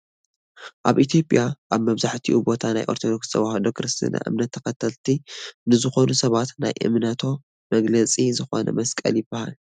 ኣብ ኢትዮጵያ ኣብ መብዛሕቲኡ ቦታ ናይ ኦርቶዶክስ ተዋህዶ ክርስትና እምነት ተከተልቲ ንዝኮኑ ሰባት ናይ እምነቶ መግለፂ ዝኮነ መስቀል ይብሃል ።